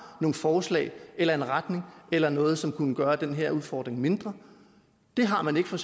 nogle forslag eller en retning eller noget som kunne gøre den her udfordring mindre det har man ikke fra